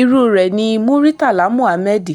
irú rẹ̀ ni muritàlá muhammed